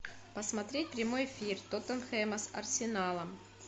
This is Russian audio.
посмотреть прямой эфир тоттенхэма с арсеналом